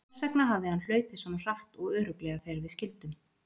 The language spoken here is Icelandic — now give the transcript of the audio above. Þess vegna hafði hann hlaupið svona hratt og örugglega þegar við skildum.